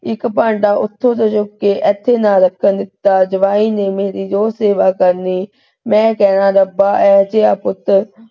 ਇਕ ਭਾਂਡਾ ਓਥੋਂ ਤੋਂ ਚੁੱਕ ਕੇ ਇਥੇ ਨਾ ਰੱਖਣ ਦਿੱਤਾ । ਜਵਾਈ ਨੇ ਮੇਰੀ ਰੋਜ ਸੇਵਾ ਕਰਨੀ। ਮੈਂ ਕਹਿਣਾ ਰੱਬ ਐਸਾ ਪੁੱਤ,